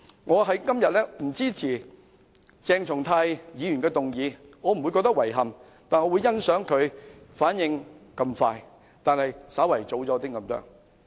我今天不支持鄭松泰議員的議案，但我欣賞他反應如此快，不過是稍為早了一些。